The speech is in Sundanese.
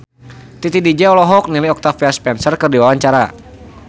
Titi DJ olohok ningali Octavia Spencer keur diwawancara